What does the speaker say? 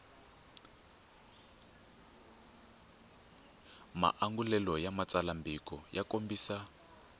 maangulelo ya xitsalwambiko ya kombisa